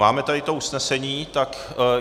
Máme tady to usnesení, tak...